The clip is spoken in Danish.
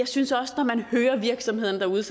synes også at når man hører virksomhederne derude